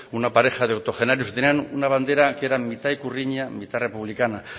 una pareja de octogenarios que tenían una bandera que era mitad ikurriña mitad republicana